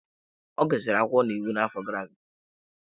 Ọ gụsịrị akwụkwọ na iwu n'afọ gara aga.